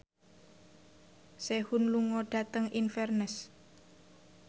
Sehun lunga dhateng Inverness